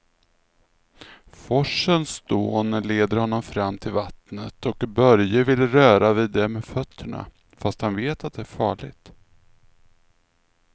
Forsens dån leder honom fram till vattnet och Börje vill röra vid det med fötterna, fast han vet att det är farligt.